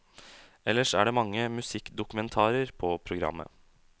Ellers er det mange musikkdokumentarer på programmet.